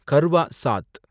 கர்வா சாத்